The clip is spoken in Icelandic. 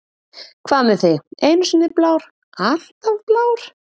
Hvað með þig, einu sinni blár, alltaf blár?